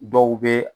Dɔw bɛ